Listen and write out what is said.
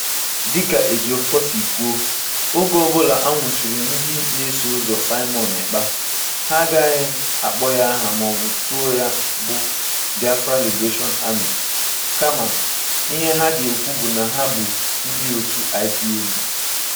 Dịka Ejiofor siri kwuo, "oge ọbụla a nwụchiri ndị na-eso ụzọ Simon Ekpa, ha agaghị akpọ ya aha maọbụ otu ya bụ Biafra Liberation Army (BLA), kama ihe ha ga-ekwu bụ na ha bụ ndị otu IPOB."